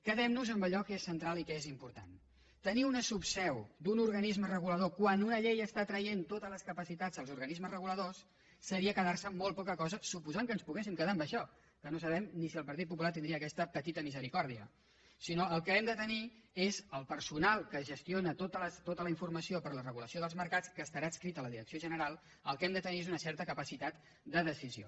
quedem nos amb allò que és central i que és important tenir una subseu d’un organisme regulador quan una llei treu totes les capacitats als organismes reguladors seria quedar se amb molt poca cosa suposant que ens poguéssim quedar amb això que no sabem ni si el partit popular tindria aquesta petita misericòrdia el que hem de tenir és el personal que gestiona tota la informació per a la regulació dels mercats que estarà adscrit a la direcció general el que hem de tenir és una certa capacitat de decisió